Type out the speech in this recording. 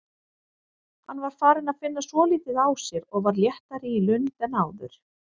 Hann var farinn að finna svolítið á sér og var léttari í lund en áður.